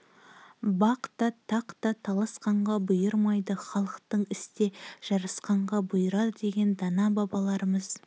бақ та тақ та таласқанға бұйырмайды халықтық істе жарасқанға бұйырады деген дана бабаларымыз